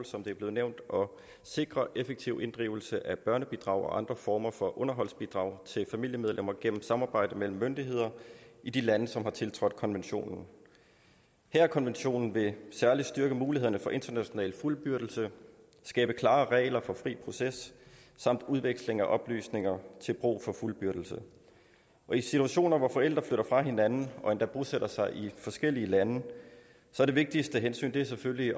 som det er blevet nævnt at sikre effektiv inddrivelse af børnebidrag og andre former for underholdsbidrag til familiemedlemmer gennem samarbejde mellem myndigheder i de lande som har tiltrådt konventionen haagerkonventionen vil særlig styrke mulighederne for international fuldbyrdelse skabe klare regler for fri proces samt udveksling af oplysninger til brug for fuldbyrdelse i situationer hvor forældre flytter fra hinanden og endda bosætter sig i forskellige lande er det vigtigste hensyn selvfølgelig